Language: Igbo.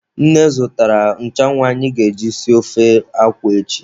Nne zụtara nchụanwụ anyị ga-eji esi ofe akwụ echi.